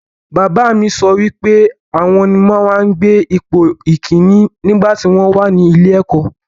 Bàbá mi sọ wípé àwọn ni wọ́n máa ń gbé ipò ìkínní nígbàtí wọ́n wà ní ilé-ẹ̀kọ́.